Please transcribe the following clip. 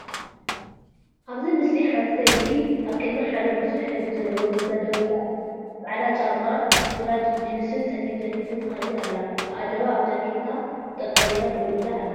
ኣብዚ ምስሊ ሓንቲ ሰበይቲ ኣብ ቅድሚ ሓደ ብዙሕ ሕብሪ ዘለዎ ገዛ ደው ኢላ ኣላ። ጻዕዳ ክዳን፡ ግራጭ ጂንስን ጸሊም ጃኬትን ተኸዲና ኣላ። ኣእዳዋ ኣብ ጃኬታ ኣጣሚራ ደው ኢላ ኣላ።